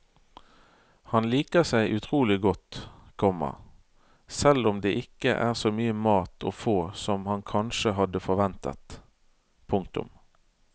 Han liker seg utrolig godt, komma selv om det ikke er så mye mat å få som han kanskje hadde forventet. punktum